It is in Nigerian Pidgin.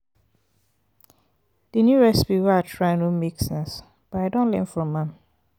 di new recipe wey i try no make sense but i don learn from am.